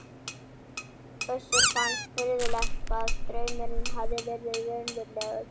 Össuri fannst furðulegt hvað draumurinn hafði verið raunverulegur.